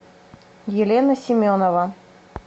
елена семенова